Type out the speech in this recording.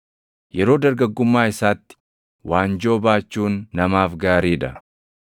Yeroo dargaggummaa isaatti waanjoo baachuun namaaf gaarii dha.